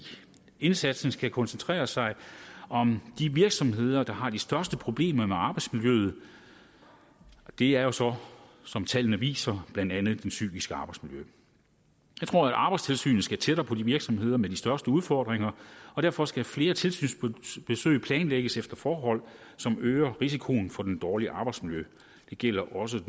indsatsen skal koncentrere sig om de virksomheder der har de største problemer med arbejdsmiljøet og det er jo så som tallene viser blandt andet det psykiske arbejdsmiljø jeg tror at arbejdstilsynet skal tættere på de virksomheder med de største udfordringer og derfor skal flere tilsynsbesøg planlægges efter forhold som øger risikoen for det dårlige arbejdsmiljø det gælder også